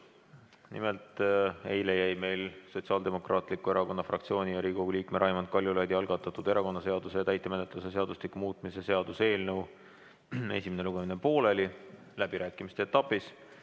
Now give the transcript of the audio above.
Nimelt, eile jäi meil Sotsiaaldemokraatliku Erakonna fraktsiooni ja Riigikogu liikme Raimond Kaljulaidi algatatud erakonnaseaduse ja täitemenetluse seadustiku muutmise seaduse eelnõu esimene lugemine pooleli läbirääkimiste etapis.